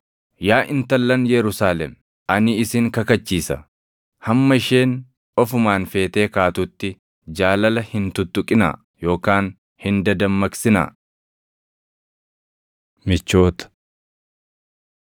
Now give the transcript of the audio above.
Yaa intallan Yerusaalem, ani isin kakachiisa; hamma isheen ofumaan feetee kaatutti jaalala hin tuttuqinaa yookaan hin dadammaqsinaa. Michoota